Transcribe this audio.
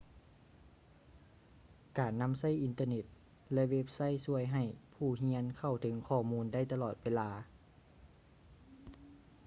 ການນຳໃຊ້ອິນເຕີ້ເນັດ ແລະ ເວັບໄຊທຊ່ວຍໃຫ້ຜູ້ຮຽນເຂົ້າເຖິງຂໍ້ມູນໄດ້ຕະຫຼອດເວລາ